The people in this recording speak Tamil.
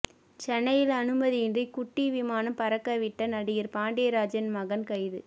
சென்னையில் அனுமதியின்றி குட்டி விமானம் பறக்க விட்ட நடிகர் பாண்டியராஜன் மகன் கைது